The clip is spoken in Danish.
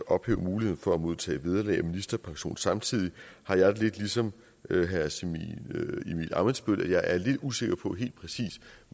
ophæve muligheden for at modtage vederlag og ministerpension samtidig har jeg det ligesom herre simon emil ammitzbøll jeg er lidt usikker på helt præcist